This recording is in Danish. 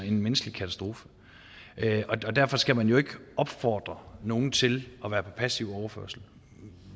en menneskelig katastrofe og derfor skal man jo ikke opfordre nogen til at være på passiv overførsel